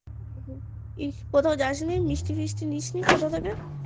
ইস কোথায় যাসনি মিষ্টি ফিষ্টি নিসনি কোথা থেকে